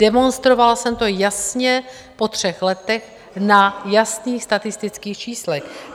Demonstrovala jsem to jasně po třech letech na jasných statistických číslech.